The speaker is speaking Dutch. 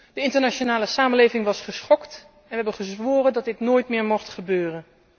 De internationale samenleving was geschokt en heeft gezworen dat dit nooit meer mocht gebeuren.